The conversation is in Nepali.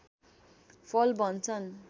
फल भन्छन्